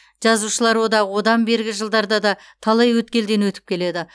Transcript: жазушылар одағы одан бергі жылдарда да талай өткелден өтіп келеді